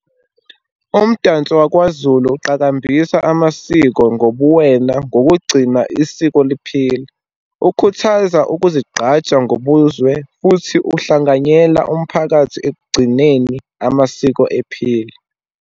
Umdanso wakwaZulu uqakambisa amasiko ngobuwena, ngokugcina isiko liphila, ukhuthaza ukuzigqaja ngobuzwe, futhi uhlanganyela umphakathi ekugcineni amasiko ephila.